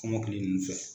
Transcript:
Kɔmɔkili ninnu fɛ